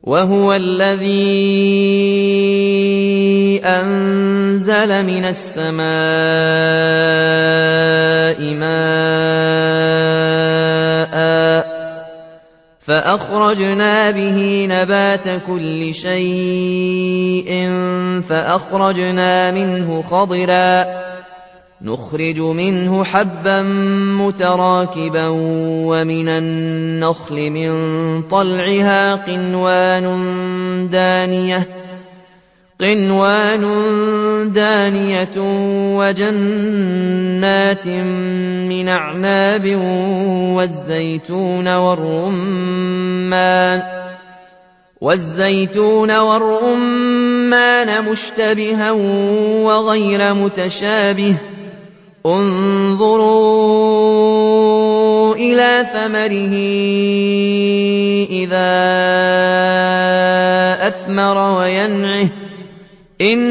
وَهُوَ الَّذِي أَنزَلَ مِنَ السَّمَاءِ مَاءً فَأَخْرَجْنَا بِهِ نَبَاتَ كُلِّ شَيْءٍ فَأَخْرَجْنَا مِنْهُ خَضِرًا نُّخْرِجُ مِنْهُ حَبًّا مُّتَرَاكِبًا وَمِنَ النَّخْلِ مِن طَلْعِهَا قِنْوَانٌ دَانِيَةٌ وَجَنَّاتٍ مِّنْ أَعْنَابٍ وَالزَّيْتُونَ وَالرُّمَّانَ مُشْتَبِهًا وَغَيْرَ مُتَشَابِهٍ ۗ انظُرُوا إِلَىٰ ثَمَرِهِ إِذَا أَثْمَرَ وَيَنْعِهِ ۚ إِنَّ